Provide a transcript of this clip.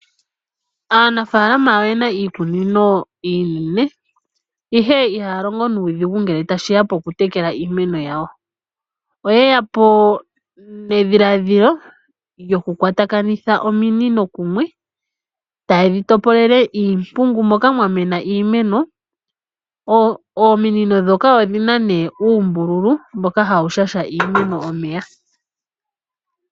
Aanafaalama oyena iikunino iinene ihe ihaya longo nuudhigu ngele tashi ya pokutekela iimeno yawo. Oyeya po nedhiladhilo lyoku kwatakakanitha ominino kumwe taye dhi topolele iimpungu moka mwa mena iimeno. Ominino ndhoka odhina nee uumbululu mboka hawu shasha iimeno omeya.